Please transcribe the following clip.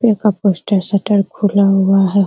पे का poster shutter खुला हुआ है।